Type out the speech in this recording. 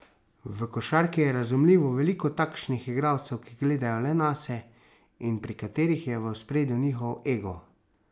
V košarki je razumljivo veliko takšnih igralcev, ki gledajo le nase in pri katerih je v ospredju njihov ego.